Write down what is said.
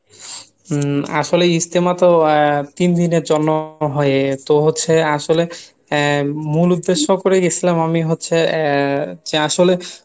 হম আসলে ইজতেমা তো আহ তিন দিনের জন্য হয় তো হচ্ছে আসলে আহ মূল উদ্দেশ্য করে গেছিলাম আমি হচ্ছে আহ যে আসলে